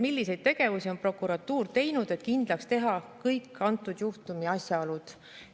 Milliseid tegevusi on prokuratuur teinud, et kindlaks teha kõik antud juhtumi asjaolud?